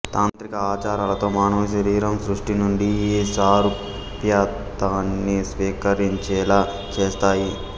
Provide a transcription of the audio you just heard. తాంత్రిక ఆచారాలతో మానవుని శరీరం సృష్టి నుండి ఈ సారూప్యతని స్వీకరించేలా చేస్తాయి